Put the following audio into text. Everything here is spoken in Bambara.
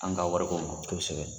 An ka wari ko mɔ, kosɛbɛ.